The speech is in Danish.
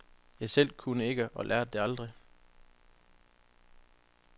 Jeg selv kunne ikke, og lærte det aldrig.